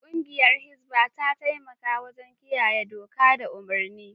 Kungiyar Hisbah ta taimaka wajen kiyaye doka da umarni.